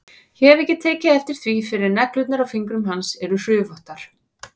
Ég hef ekki tekið eftir því fyrr að neglurnar á fingrum hans eru hrufóttar.